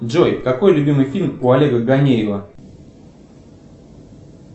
джой какой любимый фильм у олега гонеева